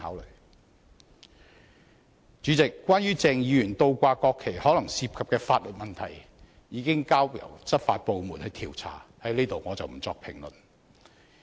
代理主席，關於鄭議員倒掛國旗可能涉及的法律問題，已交由執法部門調查，我不在此作評論。